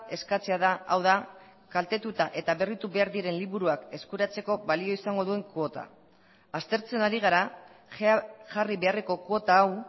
eskatzea da hau da kaltetuta eta berritu behar diren liburuak eskuratzeko balio izango duen kuota aztertzen ari gara jarri beharreko kuota hau